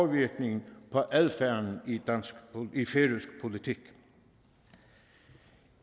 virkning på adfærden i færøsk politik i